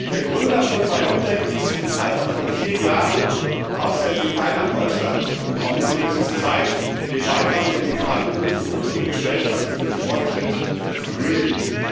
Der Gründer von BioNTech ist im Alter von vier Jahren aus der Türkei nach Deutschland gekommen, und es ist Zeit, den Beitrag der Migranten für unsere Gesellschaft, für den Fortschritt zu würdigen.